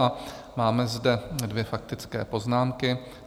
A máme zde dvě faktické poznámky.